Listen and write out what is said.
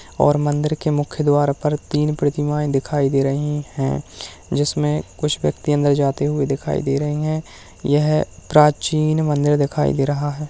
और मंदिर के मुख्य द्वार पर तीन प्रतिमाएं दिखाई दे रही हैं जिसमें कुछ व्यक्ति अंदर जाते हुए दिखाई दे रहे हैं यह प्राचीन मंदिर दिखाई दे रहा है।